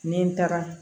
Ni n taara